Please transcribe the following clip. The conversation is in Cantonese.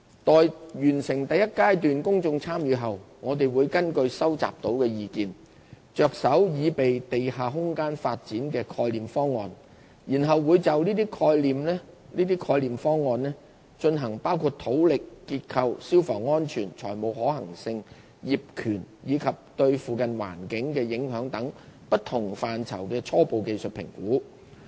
待完成第一階段公眾參與後，我們會根據收集到的意見，着手擬備地下空間發展的概念方案，然後會就這些概念方案，進行包括土力、結構、消防安全、財務可行性、業權，以及對附近環境的影響等不同範疇的初步技術評估。